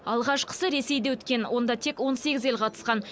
алғашқысы ресейде өткен онда тек он сегіз ел қатысқан